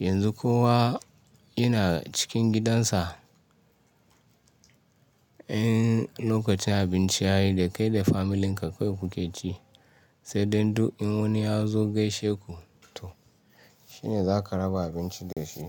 Yanzu kowa yana cikin gidansa. In lokacin abinci yayi da kai da familinka kawai kuke ci sai dai duk in wani ya zo gaishe ku to shine za ka raba abinci da shi.